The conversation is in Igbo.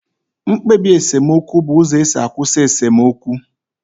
Mkpebi esemokwu bụ uzo esi akwụsị esemokwu